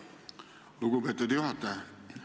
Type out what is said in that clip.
Aitäh, lugupeetud juhataja!